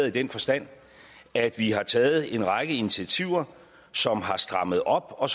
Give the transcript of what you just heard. i den forstand at vi har taget en række initiativer som har strammet op og